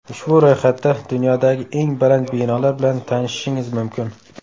Ushbu ro‘yxatda dunyodagi eng baland binolar bilan tanishishingiz mumkin.